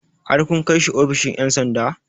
Har kun kai shi ofishin ƴan sanda?